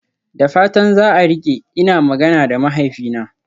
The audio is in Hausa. Da fatan za a rike, ina magana da mahaifina.